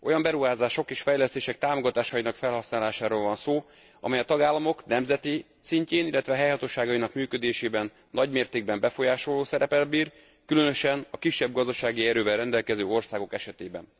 Olyan beruházások és fejlesztések támogatásainak felhasználásáról van szó, amely a tagállamok nemzeti szintjén, illetve a helyhatóságainak működésében nagymértékben befolyásoló szereppel bír, különösen a kisebb gazdasági erővel rendelkező országok esetében.